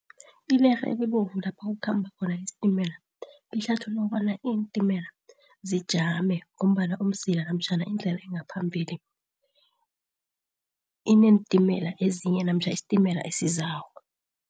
Ilerhe elibovu lapha kukhamba khona isitimela lihlathulula ukobana iintimela zijame ngombana umzila namtjhana indlela engaphambili ineentimela ezinye namtjha isitimela esizako.